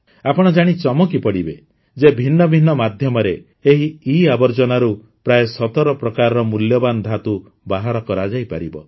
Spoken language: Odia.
ଆପଣ ଜାଣି ଚମକି ପଡ଼ିବେ ଯେ ଭିନ୍ନ ଭିନ୍ନ ମାଧ୍ୟମରେ ଏହି ଇଆବର୍ଜନାରୁ ପ୍ରାୟ ୧୭ ପ୍ରକାରର ମୂଲ୍ୟବାନ ଧାତୁ ବାହାର କରାଯାଇପାରିବ